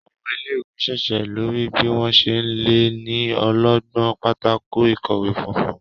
Àwọn ilé-ìwé n ṣíṣe lórí bí wón ṣe lẹ ní ọlọgbọn Pátákó ìkọ̀wé funfun.